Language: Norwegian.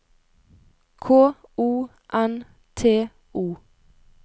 K O N T O